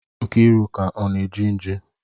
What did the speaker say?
Nkiruka ọ na-eji nji?